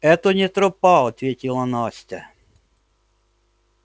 это не тропа ответила настя